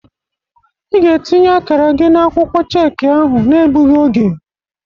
Ị ga-etinye akara gị n'akwụkwọ cheki ahụ n'egbụghi oge!